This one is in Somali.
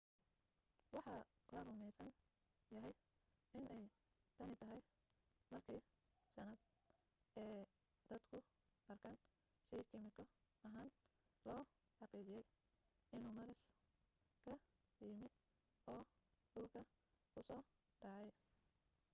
waxa la rumaysan yahay inay tani tahay markii shanaad ee dadku arkaan shay kiimiko ahaan loo xaqiijiyay inuu maaras ka yimi oo dhulka ku soo dhacay